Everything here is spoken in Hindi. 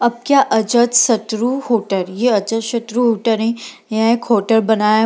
अब क्या जाद शत्रु होटल यह अजाद शत्रु होटल हें यहां एक होटल बनाया --